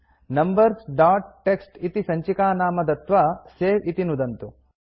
numbers dot TXT इति सञ्चिकानाम दत्त्वा सवे इति नुदन्तु